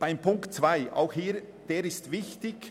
Auch Punkt 2 ist wichtig.